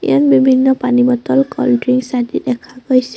ইয়াত বিভিন্ন পানী বটল কল্ডদ্ৰিংকছ আদি দেখা গৈছে।